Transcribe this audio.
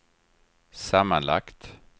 sammanlagt